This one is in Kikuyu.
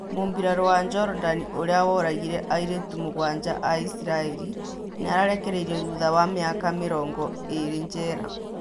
Mũmbirarũ wa jorodani ũrĩa woragire airĩtu mũgwanja a isiraeri nĩarekereirio thutha wa mĩaka mĩrongo ĩrĩ njera